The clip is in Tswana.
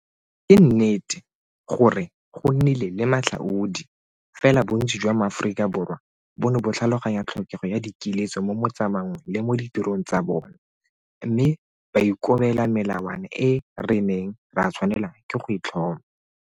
Ke nnete gore go nnile le matlhaodi, fela bontsi jwa Maaforika Borwa bo ne bo tlhaloganya tlhokego ya dikiletso mo motsamaong le mo ditirong tsa bona, mme ba ikobela melawana e re neng ra tshwanelwa ke go e tlhoma.